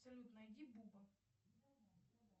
салют найди буба